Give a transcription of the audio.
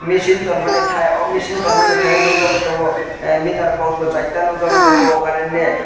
machine tonmani thai oh machine tongmani thaio nukjagui tongo meterbox bo charta nukjakgui tongo current ni.